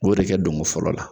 U b'o de kɛ dongo fɔlɔ la